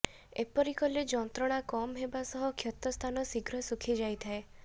ଏପରି କଲେ ଯନ୍ତ୍ରଣା କମ ହେବା ସହ କ୍ଷତସ୍ଥାନ ଶୀଘ୍ର ଶୁଖି ଯାଇଥାଏ